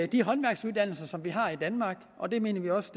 de håndværksuddannelser som vi har i danmark og det mener vi også